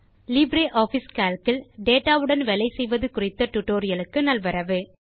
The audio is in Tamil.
லிப்ரியாஃபிஸ் கால்க் ல் டேட்டா உடன் வேலை செய்வது குறித்த டியூட்டோரியல் க்கு நல்வரவு